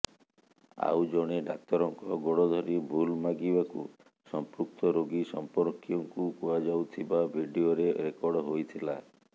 ଆଉ ଜଣେ ଡାକ୍ତରଙ୍କ ଗୋଡ଼ ଧରି ଭୁଲ୍ ମାଗିବାକୁ ସଂପୃକ୍ତ ରୋଗୀ ସମ୍ପର୍କୀୟଙ୍କୁ କୁହାଯାଉଥିବା ଭିଡିଓରେ ରେକର୍ଡ ହୋଇଥିଲା